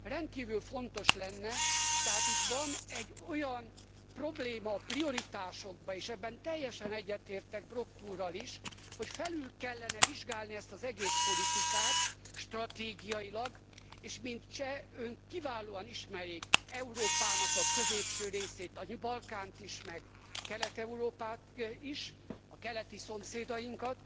rendkívül fontos lenne, tehát itt van egy olyan probléma a prioritásokban, és ebben teljesen egyetértek Brok úrral is, hogy felül kellene vizsgálni ezt az egész politikát stratégiailag, és mint cseh, Ön kiválóan ismeri Európának a középső részét, a Balkánt is meg Kelet Európát is, a keleti szomszédainkat.